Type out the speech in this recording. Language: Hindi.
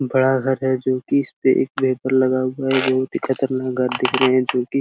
बड़ा घर है जी की इसपे एक भेपर लगा हुआ है बहुत ही खतरनाक घर दिख रहे है जो की --